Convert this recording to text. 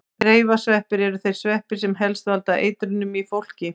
Reifasveppir eru þeir sveppir sem helst valda eitrunum í fólki.